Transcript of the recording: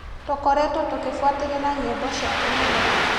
Tũkoretwo tũkĩbuatĩrĩra nyĩmbo ciake mũno.